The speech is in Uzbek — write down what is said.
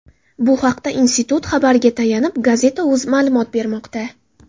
Bu haqda institut xabariga tayanib Gazeta.uz ma’lumot bermoqda .